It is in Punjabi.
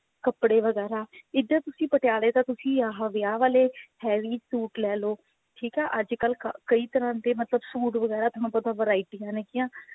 ਕੱਪੜੇ ਵਗੇਰਾ ਇਧਰ ਤੁਸੀਂ ਪਟਿਆਲੇ ਤਾ ਤੁਸੀਂ ਆਹ ਵਿਆਹ ਵਾਲੇ heavy suit ਲੈਲੋ ਠੀਕ ਹੈ ਅੱਜਕਲ ਕਈ ਤਰ੍ਹਾਂ ਦੇ ਮਤਲਬ suit ਵਗੇਰਾ ਤੁਹਾਨੂੰ ਪਤਾ varieties ਹੈਗਿਆ